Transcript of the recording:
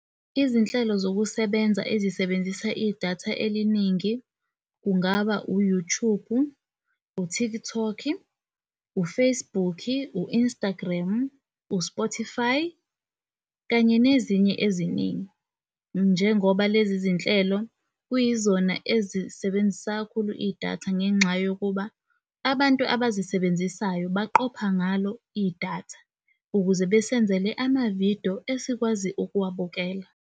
Izinhlelo zokusebenza ezisebenzisa i-data eliningi kungaba u-Youtube, u-TikTok-i, u-Facebook-i, u-Instagram, u-Spotify, kanye nezinye eziningi njengoba lezi zinhlelo kuyizona ezisebenzisa kakhulu i-data ngenxa yokuba abantu abazisebenzisayo baqopha ngalo i-data ukuze besenzele ama-video esikwazi ukuwabukela.